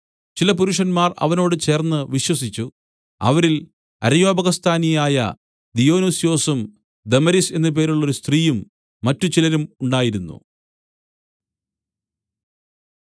ചില പുരുഷന്മാർ അവനോട് ചേർന്ന് വിശ്വസിച്ചു അവരിൽ അരയോപഗസ്ഥാനിയായ ദിയൊനുസ്യോസും ദമരീസ് എന്നു പേരുള്ളോരു സ്ത്രീയും മറ്റ് ചിലരും ഉണ്ടായിരുന്നു